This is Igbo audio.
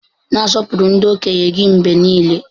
Na-asọpụrụ ndị okenye gị mgbe niile!